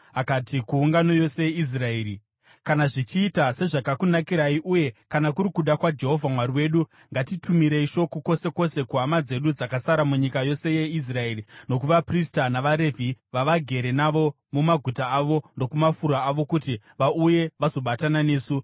Akati kuungano yose yeIsraeri, “Kana zvichiita sezvakakunakirai uye kana kuri kuda kwaJehovha Mwari wedu, ngatitumirei shoko kwose kwose kuhama dzedu dzakasara munyika yose yeIsraeri, nokuvaprista navaRevhi vavagere navo mumaguta avo nokumafuro avo kuti vauye vazobatana nesu.